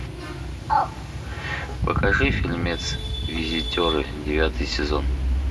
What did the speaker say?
покажи фильмец визитеры девятый сезон